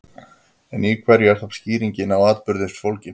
En í hverju er þá skýring á atburði fólgin?